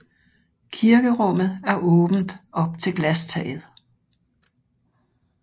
Kirkerummet er åbent op til glastaget